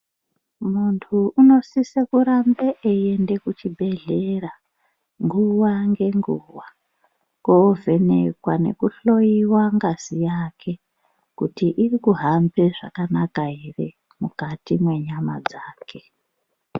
Muntu unosise kurambe eyi ende ku chibhedhlera nguwa nge nguwa ko vhenekwa neku hloyiwa ngazi yake kuti iri kuhambe zvakanaka ere mukati me nyama dzake.